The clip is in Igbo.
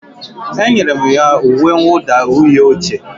Enyere m ya uwe mwụda uhie oche